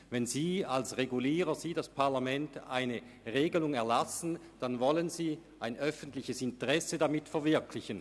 Wenn Sie als Regulierender in ihrer Funktion als Parlamentarier eine Regelung erlassen, wollen Sie damit ein öffentliches Interesse verwirklichen.